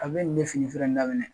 A bɛ ni be fini feere in laminɛ